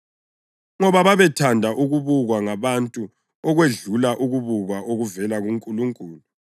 ngoba babethanda ukubukwa ngabantu okwedlula ukubukwa okuvela kuNkulunkulu.